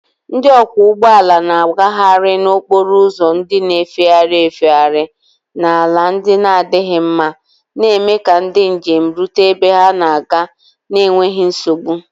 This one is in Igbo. Ndị ọkwọ ụgbọ ala na-agagharị n'okporo ụzọ ndị na-efegharị efegharị na ala ndị na-adịghị mma, na-eme ka ndị njem rute ebe ha na-aga n'enweghị nsogbu.